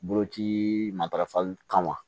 Boloci matarafali kama